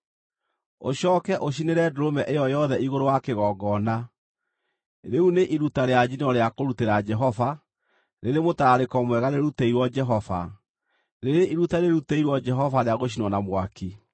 Ũcooke ũcinĩre ndũrũme ĩyo yothe igũrũ wa kĩgongona. Rĩu nĩ iruta rĩa njino rĩa kũrutĩra Jehova, rĩrĩ mũtararĩko mwega rĩrutĩirwo Jehova, rĩrĩ iruta rĩrutĩirwo Jehova rĩa gũcinwo na mwaki.